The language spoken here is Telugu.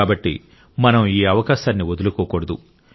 కాబట్టి మనం ఈ అవకాశాన్ని వదులుకోకూడదు